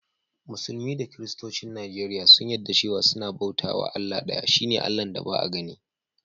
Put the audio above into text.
Musulmi da kiristocin Nijeriya sun yadda cewa sunna bauta was Allah daya, shine Allah'n da Ba'a ganni.